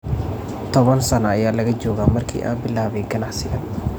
toban sano ayaa laga joogaa markii aan bilaabay ganacsigan.